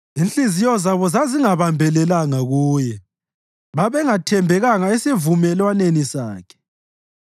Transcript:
inhliziyo zabo zazingabambelelanga kuye, babengathembekanga esivumelwaneni sakhe.